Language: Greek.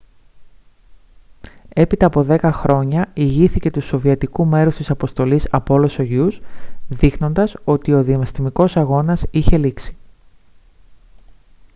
έπειτα από δέκα χρόνια ηγήθηκε του σοβιετικού μέρους της αποστολής apollo-soyuz δείχνοντας ότι ο διαστημικός αγώνας είχε λήξει